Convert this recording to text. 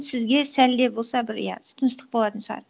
сізге сәлде болса бір иә тыныштық болатын шығар